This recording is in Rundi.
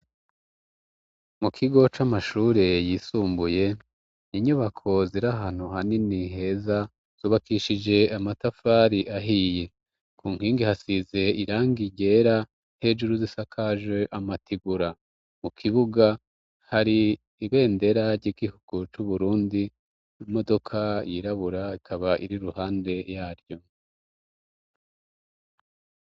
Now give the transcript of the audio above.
Mu kigo c'amashure yisumbuye, inyubako ziri ahantu hanini heza, zubakishije amatafari ahiye. Ku nkingi hasize irangi ryera, hejuru z'isakaje amategura. Mu kibuga, hari ibendera ry'igihuku c'Uburundi, imodoka yirabura ikaba iri iruhande ya ryo.